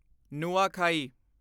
Nuakhai